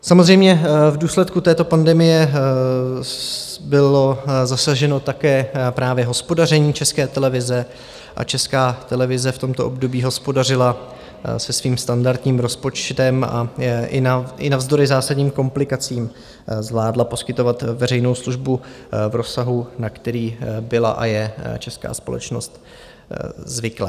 Samozřejmě v důsledku této pandemie bylo zasaženo také právě hospodaření České televize a Česká televize v tomto období hospodařila se svým standardním rozpočtem a i navzdory zásadním komplikacím zvládla poskytovat veřejnou službu v rozsahu, na který byla a je česká společnost zvyklá.